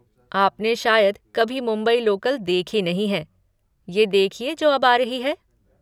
आपने शायद कभी मुंबई लोकल देखी नहीं है, ये देखिए जो अब आ रही है।